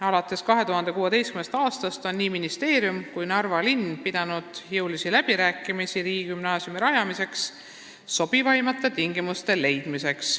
Alates 2016. aastast on ministeerium ja Narva linn pidanud jõulisi läbirääkimisi riigigümnaasiumi rajamiseks sobivaimate tingimuste leidmiseks.